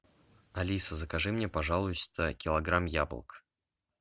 алиса закажи мне пожалуйста килограмм яблок